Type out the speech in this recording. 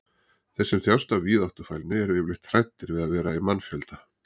þeir sem þjást af víðáttufælni eru yfirleitt hræddir við að vera í mannfjölda